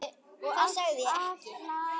Það sagði ég ekki